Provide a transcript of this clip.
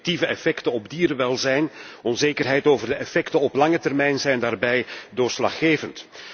Negatieve effecten op dierenwelzijn en onzekerheid over de effecten op lange termijn zijn daarbij doorslaggevend.